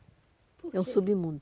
É um submundo.